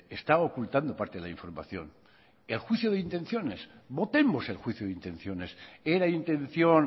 está ocultando parte de la información el juicio de intenciones votemos el juicio de intenciones era intención